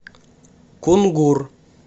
кунгур